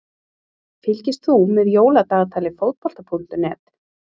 Fylgist þú með Jóladagatali Fótbolta.net?